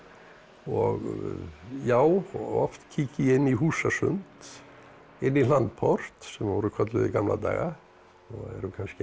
og já oft kíki ég inn í húsasund inn í hlandport sem voru kölluð í gamla daga og eru kannski enn